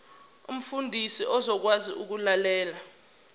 umfundi uzokwazi ukulalela